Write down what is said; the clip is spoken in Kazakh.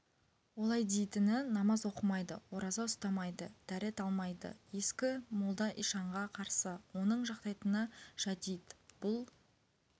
олай дейтіні намаз оқымайды ораза ұстамайды дәрет алмайды ескі молда ишанға қарсы оның жақтайтыны жәдит бұл